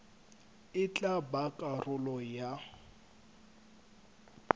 e tla ba karolo ya